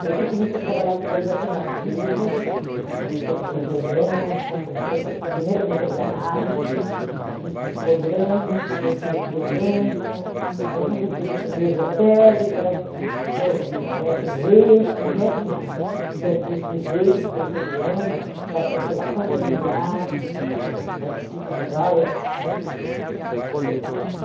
Daí que eu comecei a trabalhar com coisas alternativas, comecei a fazer biodança, comecei a fa primeiro comecei a fazer análise, fiz psicodrama, depois fiz biodança, daí comecei a ser meio esotérica, sou mestre em reiki, mestre não, tenho curso de reiki, terceiro ano, faço constelação familiar, participo de várias coisas alternativas.